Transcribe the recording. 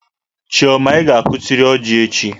Chioma, ị ga-akụtịrị ọjị echi!